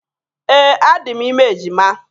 Ee, adị m ime ejima.